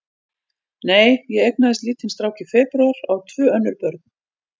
Nei, ég eignaðist lítinn strák í febrúar og á tvö önnur börn.